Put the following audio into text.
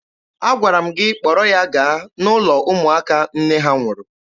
Agwara m gị kpọrọ ya gaa n'ụlọ ụmụaka nne ha nwụrụ!